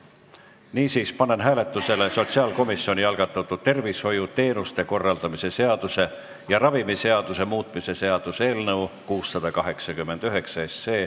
Niisiis, panen hääletusele sotsiaalkomisjoni algatatud tervishoiuteenuste korraldamise seaduse ja ravimiseaduse muutmise seaduse eelnõu 689.